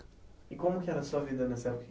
E como que era a sua vida nessa época?